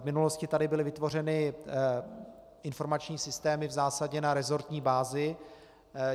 V minulosti tady byly vytvořeny informační systémy v zásadě na resortní bázi.